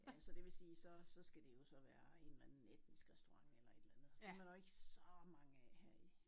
Ja så det vil sige så så skal det jo så være en eller anden etnisk restaurant eller et eller andet og dem er der jo ikke så mange af her i